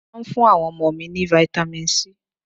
Mo máa ń fún àwọn ọmọ mi ní Vitamin C.